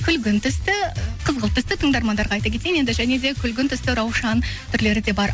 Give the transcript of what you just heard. күлгін түсті қызғылт түсті тыңдармандарға айта кетейін енді және де күлгін түсті раушан түрлері де бар